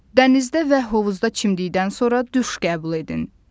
Dənizdə və hovuzda çimdikdən sonra duş qəbul edin.